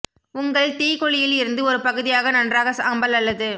உங்கள் தீ குழியில் இருந்து ஒரு பகுதியாக நன்றாக சாம்பல் அல்லது